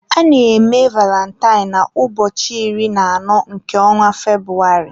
a na-eme valintine na ụbọchị iri na anọ nke ọnwa Febrụwarị.